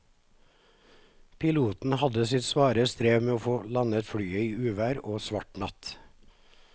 Piloten hadde sitt svare strev med å få landet flyet i uvær og svart natt.